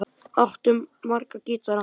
Áttu marga gítara?